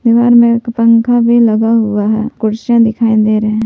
घर में एक पंखा भी लगा हुआ है कुर्सियां दिखाई दे रहे हैं।